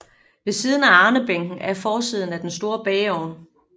Ved siden af arnebænken er forsiden af den store bageovn